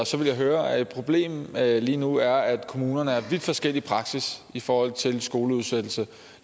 så vil jeg høre et problem lige nu er at kommunerne har en vidt forskellig praksis i forhold til skoleudsættelse